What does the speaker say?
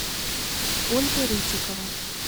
ольга рытикова